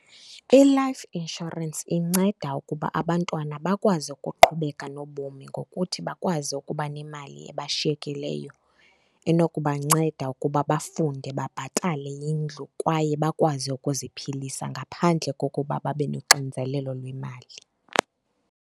I-life insurance inceda ukuba abantwana bakwazi ukuqhubeka nobomi ngokuthi bakwazi ukuba nemali ebashiyekileyo enokubanceda ukuba bafunde, babhatale indlu kwaye bakwazi ukuzi philisa ngaphandle kokuba babe noxinizelelo lwemali.